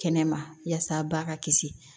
Kɛnɛma yasa a ba ka kisi